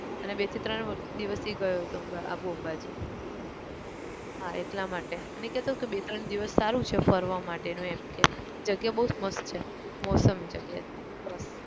અને બે થી ત્રણ દિવસ એ ગયો હતો આબુ અંબાજી હા એટલા માટે અને એ કહેતો કે બે ત્રણ દિવસ સારું છે ફરવા માટેનું એમ કે જગ્યા બહુ જ મસ્ત છે મૌસમ